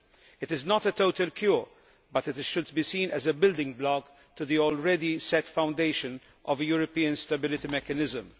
It is not a total cure, but it should be seen as a building block to the already set foundation of a European stability mechanism.